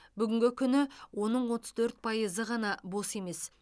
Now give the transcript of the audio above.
бүгінгі күні оның отыз төрт пайызы ғана бос емес